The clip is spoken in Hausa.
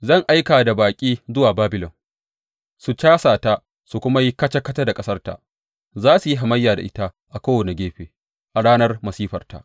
Zan aika da baƙi zuwa Babilon su casa ta su kuma yi kaca kaca da ƙasarta; za su yi hamayya da ita a kowane gefe a ranar masifarta.